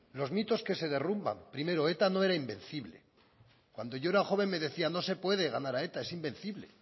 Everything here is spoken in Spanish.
los mitos que se derrumban primero eta no era invencible cuando yo era joven me decían no se puede ganar a eta es invencible